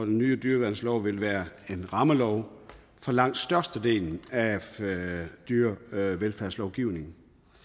nye dyreværnslov vil være en rammelov for langt størstedelen af dyrevelfærdslovgivningen